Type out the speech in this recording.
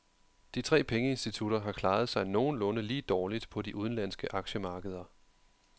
De tre pengeinstitutter har klaret sig nogenlunde lige dårligt på de udenlandske aktiemarkeder.